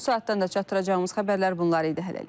Bu saatdan da çatdıracağımız xəbərlər bunlar idi, hələlik.